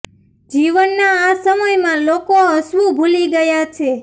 જીવનના આ સમય માં લોકો હસવું ભૂલી ગયા છે